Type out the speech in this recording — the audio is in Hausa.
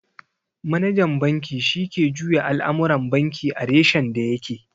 Manajan banki shi ke juya al'amuran banki a reshen da ya ke